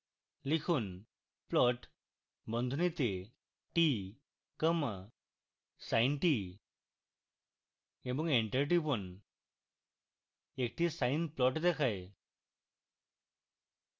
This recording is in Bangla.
লিখুন: plot বন্ধনীতে t comma sin t এবং enter টিপুন একটি sine plot দেখায়